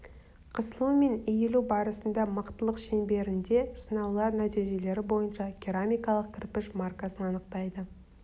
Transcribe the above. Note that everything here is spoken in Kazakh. қысылу мен иілуі барысында мықтылық шеңберінде сынаулар нәтижелері бойынша керамикалық кірпіш маркасын анықтайды